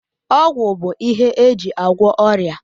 Ọgwụ bụ ihe eji agwọ ọrịa